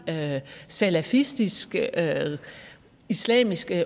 salafistisk islamisk